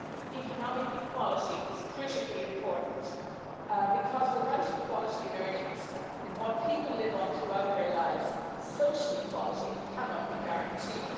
Economic equality is critically important because without equality in earnings, in what people live on throughout their lives, social equality cannot be guaranteed.